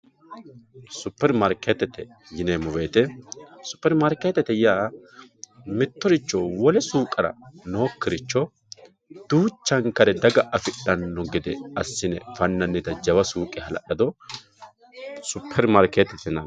Super maariketete yineemo woyite, super maarikketete yaa mitoricho wole suuqera nookiricho duuchankare daga affidhano gede asine fananita jawa suuqe halalado super maariketete yinnanni